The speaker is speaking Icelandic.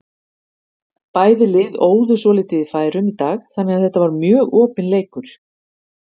Bæði lið óðu svolítið í færum í dag þannig að þetta var mjög opinn leikur.